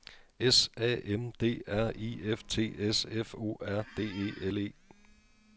S A M D R I F T S F O R D E L E